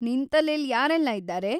ನಿನ್‌ ತಲೇಲಿ ಯಾರೆಲ್ಲ ಇದಾರೆ?